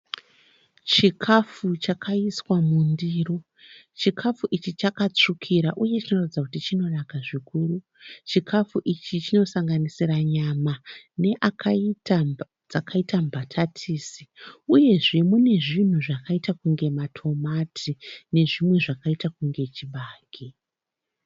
Chikafu chakaiswa mundiro, chikafu ichi chakatsvukira uye chinoratidza kuti chinonaka, chikafu ichi chinosanganisira nyama nedzakaita mbatatisi uye munezvinhu zvakaita matomati uye chibage.